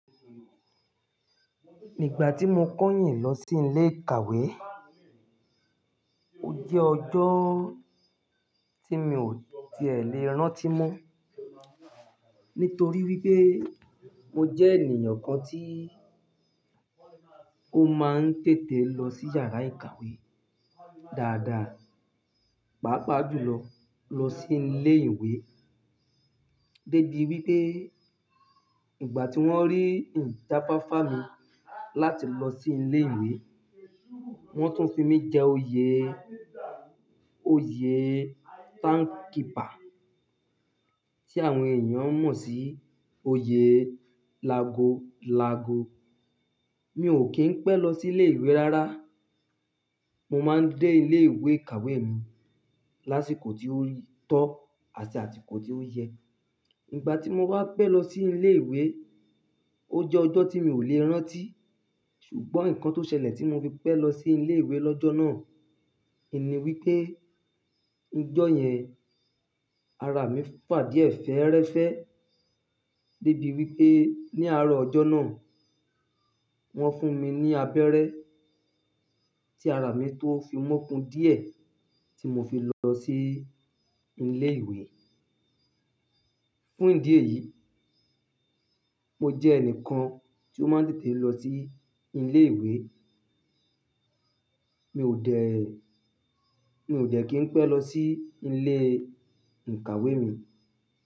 Nígbà tí mo keyìn lọ sí ilé ìkàwé, ó jẹ́ ọjọ́ tí mi ò ti è lè rántí mọ́. Nítorí wípé mo jẹ́ ènìyàn kan tí ó máa ń tètè lọ sí yàrá ìkàwé dáadáa, pàápàá jùlọ lọ sí ilé ìwé. Débi wípé ìgbà tí wón rí ìjáfàfà mi láti lọ sí ilé ìwé, wón tún fi mí jẹ oyè, oyè time keeper, tí àwọn èèyàn mọ̀ sí oyè lago lago. Mi ò kì í pẹ́ lọ sí ilé ìwé rárá. Mo máa ń dé ilé ìwé ìkàwé mi lásìkò tí ó tọ́ àti àsìkò tí ó yẹ. Ìgbà tí mo wá pẹ́ lọ sí ilé ìwé, ó jẹ́ ọjọ́ tí mi ò lè rántí. Ṣùgbọ́n nǹkan tó ṣẹlẹ̀ tí mo fi pẹ́ lọ sí ilé ìwé lọ́jọ́ náà, ni wípé ní ọjọ́ yẹn ara mi fà díẹ̀ fẹ́ẹ́rẹ́fẹ́. Débi wípé ní àárọ̀ ọjọ́ náà, wón fún mi ní abẹ́rẹ́ tí ara mi tó fi mọ́kun díẹ̀ tí mo fi lọ sí ilé ìwé. Fún ìdí èyí, mo jẹ́ ẹnìkan tí ó máa ń tètè lọ sí ilé ìwé. Mi ò dẹ̀, mi ò de kí n pẹ́ lọ sí ilé ìkàwé mi.